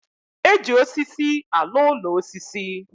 E ji osisi alụ úlọ osisi